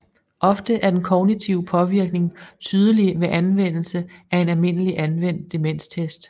Ofte er den kognitive påvirkning tydelig ved anvendelse af en almindelig anvendt demenstest